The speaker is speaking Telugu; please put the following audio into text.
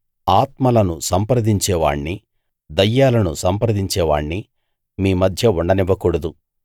ఆత్మలను సంప్రదించేవాణ్ణి దయ్యాలను సంప్రదించే వాణ్ణి మీమధ్య ఉండనివ్వకూడదు